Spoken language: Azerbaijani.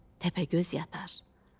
Təpəgöz yatar.